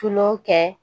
Tulon kɛ